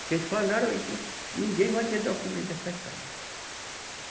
Que eles falaram aí que ninguém vai ter documento dessas casas.